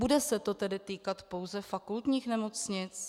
Bude se to tedy týkat pouze fakultních nemocnic?